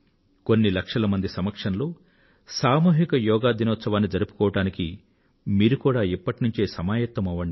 కొన్ని లక్షల మంది సమక్షం లో సామూహిక యోగా దినాన్ని జరుపుకోవడానికి మీరు కూడా ఇప్పటి నుండే సమాయత్తమవ్వండి